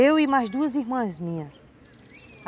Eu e mais duas irmãs minhas.